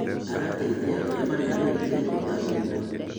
Arateithia ũrĩa mariganĩtie gũthamia indo